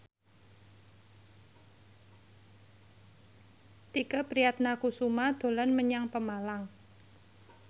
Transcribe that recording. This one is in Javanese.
Tike Priatnakusuma dolan menyang Pemalang